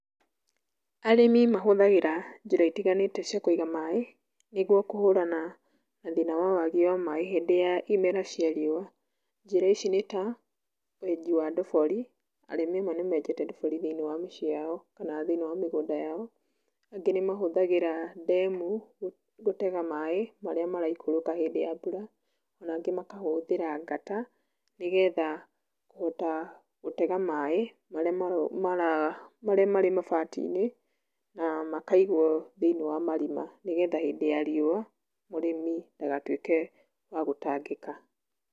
Arĩmi mahũthagĩra njĩra ĩtiganĩte cia Kũiga maaĩ niguo kũhũrana na thĩna wa wagi wa maĩ hĩndĩ ya ĩmera cia rĩũwa. Njĩra ici nĩ ta; wenji wa ndobori, arĩmĩ amwe nĩmenjete nduburi thĩiniĩ wa mĩciĩ yao kana thĩiniĩ wa mĩgũnda yao. Angĩ nĩmahũthagĩra ndemu gũtega maaĩ marĩa maraikoroka hĩndĩ ya mbura, nangĩ makahũthĩra gatero nĩgetha kuhota gũtega maaĩ marĩa marĩ mabatiinĩ, na magaigwo thĩiniĩ wa marima nĩgetha. Nĩgetha hĩndĩ ya rĩũwa mũrĩmi ndagatuĩke wa gũtangika .